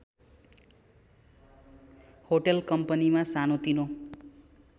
hotel कम्पनीमा सानोतिनो